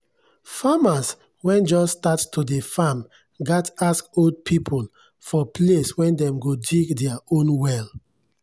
farmers wen just start to dey farm gat ask old people for place wen dem go dig dier own well.